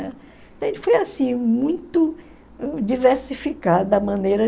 Então, a gente foi assim, muito diversificada a maneira.